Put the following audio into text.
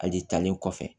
Hali talen kɔfɛ